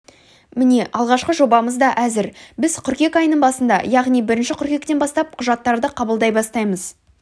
міне алғашқы жобамыз да әзір біз қыркүйек айының басында яғни бірінші қыркүйектен бастап құжаттарды қабылдай бастаймыз